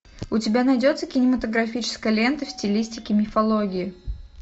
у тебя найдется кинематографическая лента в стилистике мифологии